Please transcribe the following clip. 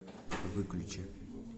выключи